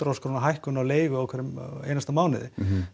þúsund króna hækkun á leigu í hverjum einasta mánuði